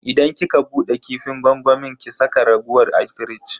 Idan kika bude kifin gwangwamin ki saka raguwar a firij.